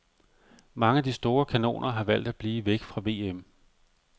Mange af de store kanoner har valgt at blive væk fra VM.